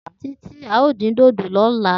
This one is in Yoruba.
Titi ao din dodo lola.